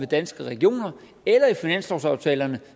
danske regioner eller i finanslovsaftalerne